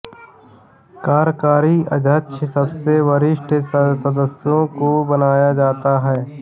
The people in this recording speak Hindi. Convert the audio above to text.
कार्यकारी अध्यक्ष सबसे वरीष्ठ सदस्यों को बनाया जाता है